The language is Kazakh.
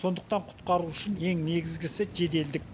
сондықтан құтқару үшін ең негізгісі жеделдік